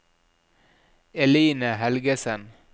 Eline Helgesen